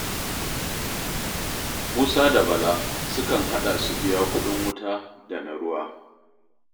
Musa da Bala sukan haɗa su biya kuɗin wuta da na ruwa